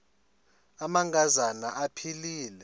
amanka zana aphilele